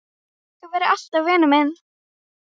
Þú verður alltaf vinur minn.